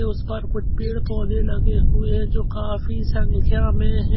उसपर कुछ पेड़ पौधे लगे हुए हैं जो काफी संख्या में है।